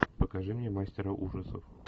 покажи мне мастера ужасов